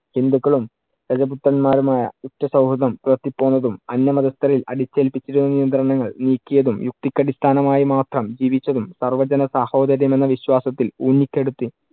ഹിന്ദുക്കളും ഗജപുത്രന്മാരുമായ ഉറ്റ സൗഹൃദം പുലർത്തി പോന്നതും, അന്യ മതസ്ഥരിൽ അടിച്ചേൽപിച്ചിരുന്ന നിയന്ത്രണങ്ങൾ നീക്കിയതും, യുക്തിക്കടിസ്ഥാനമായി മാത്രം ജീവിച്ചതും, സർവജനസഹോദര്യം എന്ന വിശ്വാസത്തിൽ ഊന്നിക്കെടുത്തി